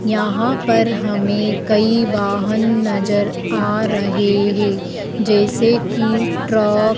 यहां पर हमें कई वाहन नजर आ रहे हैं जैसे कि ट्रक --